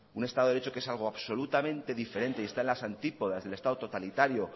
un estado de derecho que es algo absolutamente diferente y está en las antípoda del estado totalitario